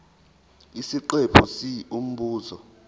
isiqephu c umbuzo